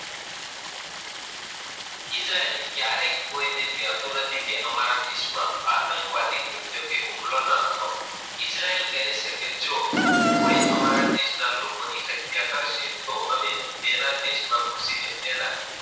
Israel ક્યારેય કોઈક ન એકેતુ નથી, કે અમારા દેશ માં આતંકવાદી કે હુમલો ના કરો, ઈજરાયલ કોઈ તમારા દેશ ની શક્ય કર્સે તો અમે એના દેશ માં ઘઉઈ ને છેલા